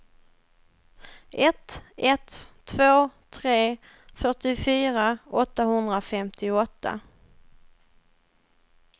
ett ett två tre fyrtiofyra åttahundrafemtioåtta